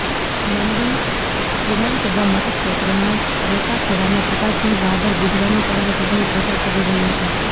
લંબી વિધાનસભા મતક્ષેત્રના રત્તા ખેડામાં પ્રકાશસિંહ બાદલ બુધવારની સવારે ચૂંટણી પ્રચાર કરી રહ્યા હતાં